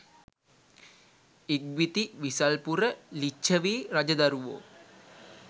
ඉක්බිති විසල්පුර ලිච්ඡවි රජදරුවෝ